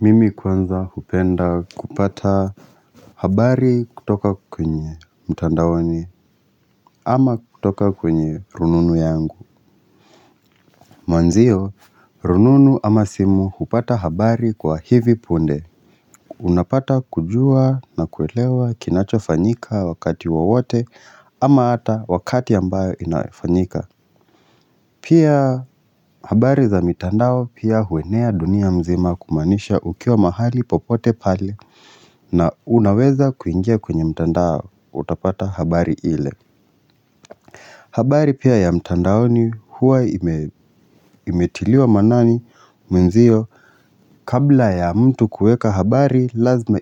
Mimi kwanza hupenda kupata habari kutoka kwenye mtandaoni ama kutoka kwenye rununu yangu Mwenzio rununu ama simu hupata habari kwa hivi punde Unapata kujua nakuelewa kinachofanyika wakati wowote ama hata wakati ambayo inafanyika. Pia habari za mitandao pia huenea dunia mzima kumaanisha ukiwa mahali popote pale na unaweza kuingia kwenye mitandao utapata habari ile habari pia ya mtandaoni huwa imetiliwa maanani mwenzio kabla ya mtu kuweka habari lazima